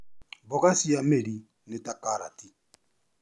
Mboga cia mĩri nĩ ta karati.